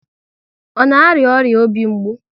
Ọ na arịa ọrịa obi mgbu?